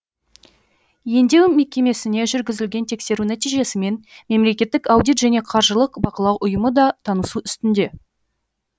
емдеу мекемесіне жүргізілген тексеру нәтижесімен мемлекеттік аудит және қаржылық бақылау ұйымы да танысу үстінде